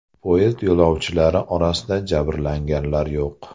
Poyezd yo‘lovchilari orasida jabrlanganlar yo‘q.